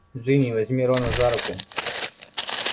джинни возьми рона за руку